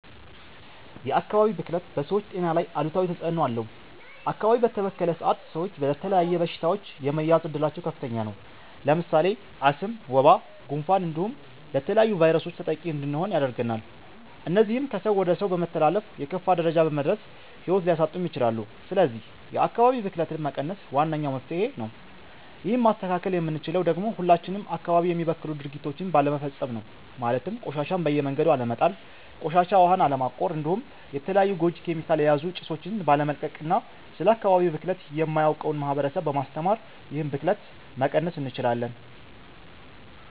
የ አካባቢ ብክለት በ ሰወች ጤና ላይ አሉታዊ ተፅእኖ አለው አካባቢ በተበከለ ሰአት ሰወች ለተለያዩ በሺታወች የመያዝ እድላቸው ከፍተኛ ነው። ለምሳሌ አስም፣ ወባ፣ ጉንፋን እንዲሁም ለተለያዩ ቫይረሶች ተጠቂ እንድንሆን ያደርገናል እነዚህም ከ ሰው ወደ ሰው በመተላለፍ የከፋ ደረጃ በመድረስ ሂዎት ሊያሳጡም ይችላሉ ስለዚህ የ አካባቢ ብክለትን መቀነስ ዋነኛው መፍትሄ ነው ይህን ማስተካከል የምንችለው ደግሞ ሁላችንም አካባቢ የሚበክሉ ድርጊቶችን ባለመፈፀም ነው ማለትም ቆሻሻን በየመንገዱ አለመጣል፣ ቆሻሻ ዉሀን አለማቆር እንዲሁም የተለያዩ ጎጂ ኬሚካል የያዙ ጭሶቺን ባለመልቀቅ እና ስለ አካባቢ ብክለት የማያውቀውን ማህበረሰብ በማስተማር ይህንን ብክለት መቀነስ እንችላለን።